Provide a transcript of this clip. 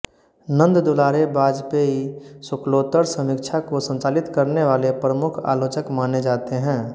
नंददुलारे वाजपेयी शुक्लोत्तर समीक्षा को संचालित करने वाले प्रमुख आलोचक माने जाते हैं